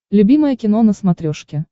любимое кино на смотрешке